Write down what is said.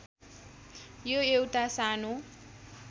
यो एउटा सानो